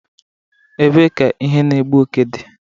Ebee ka ihe na-egbu oke dị?